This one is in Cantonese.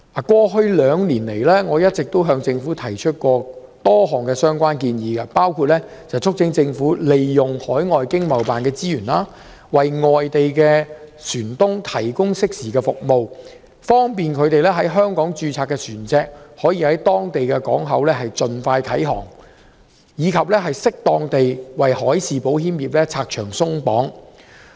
過去兩年來，我曾向政府提出多項相關建議，包括促請政府利用海外香港經濟貿易辦事處的資源，為外地船東提供適時服務，以便他們在香港註冊的船隻可以在當地港口盡快啟航，以及適當地為海事保險業拆牆鬆綁。